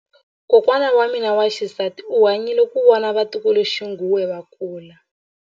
Kokwa wa mina wa xisati u hanyile ku vona vatukuluxinghuwe va kula.